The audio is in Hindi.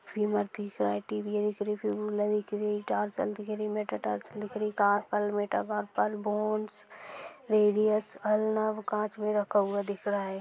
टार्सेल दिखरी मेट टार्सेल दिखरी का अलमेटा बोन्स रेडिअस काँच मे रखा हुआ दिख रहा है।